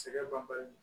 Sɛgɛ banbali